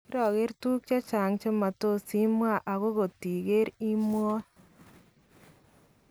Kirakeer tukuk che matosima h akot ikeer , kimwaa